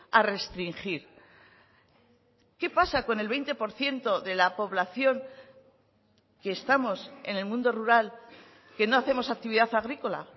a restringir qué pasa con el veinte por ciento de la población que estamos en el mundo rural que no hacemos actividad agrícola